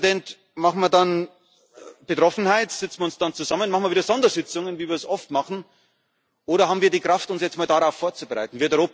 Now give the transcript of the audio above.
Herr Ratspräsident, machen wir dann auf Betroffenheit, setzen wir uns dann zusammen, machen wir wieder Sondersitzungen, wie wir es oft machen, oder haben wir die Kraft, uns jetzt mal darauf vorzubereiten?